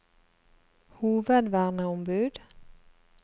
hovedverneombud